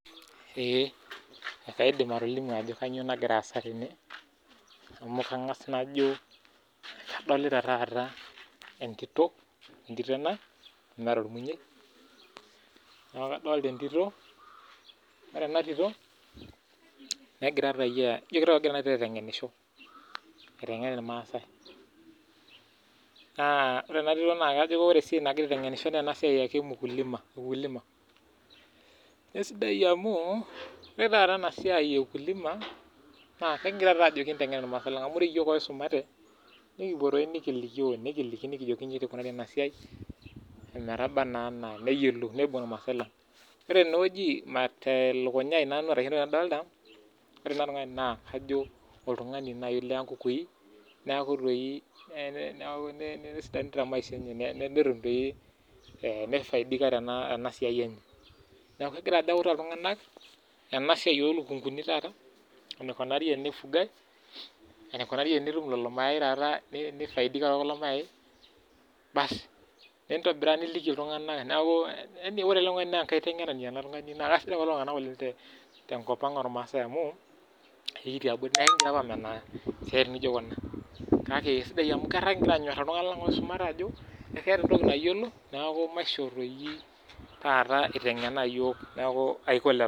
Naidin atolimu ajo kanyioo nagira aasa tene amu kangas najo kadolita taata entito amu meeta ormunyuai neku kadolita entito ore ena tito negira toi ijo kitau kegira ena tiro eitengenisho aitengen irmaasai naa ore ena tito ajo ore esiai nagira aitengenishoo naa ena siai ake ee ukulima eisidai amuu ore taata ena siyai naa kegira taa ajo kinteng'en imaasai lang' amu oree iyok oisumate nekipuo toi nikilikioo nikiliki iji tii eikunari ena siai emetaba naa enaa neyiolou neibung irmaasai lang' ore ene weji tee lukunya aii nanu kitau kadolita ore ele tungani ajo oltungani najii nekuu toi nesidanu taa maisha enye neisaidika tenaa siai enye nekuu kegira ajo autaa iltunganak ena siai oo lukunguni taata enikunari tenaifugai eneikunari tenatum lelo mayae taata neisaisika too kulo mayae bass neitobira niliki iltunganak nekuu ore ele tungani naa enkaitenganani ene tungani taa kesidan kulo tunganak oleng' tenkop ang' oo rmaasay amu too siaitin naijo Kuna kakee kesidai emu kegira anyooraa iltunganak lang' oisumate ajo keeta entoki nayiolo naaku maishoo toi tataa eitengenaa iyook nekuu